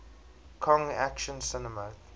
kong action cinema